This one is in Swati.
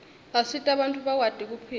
asita bantfu bakwati kuphila